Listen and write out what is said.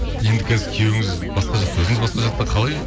енді қазір күйеуіңіз басқа жақта өзіңіз басқа жақта қалай